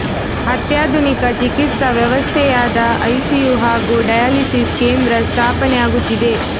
ಅತ್ಯಾಧುನಿಕ ಚಿಕಿತ್ಸಾ ವ್ಯವಸ್ಥೆಯಾದ ಐಸಿಯು ಹಾಗೂ ಡಯಾಲಿಸಿಸ್ ಕೇಂದ್ರ ಸ್ಥಾಪನೆ ಆಗುತ್ತಿದೆ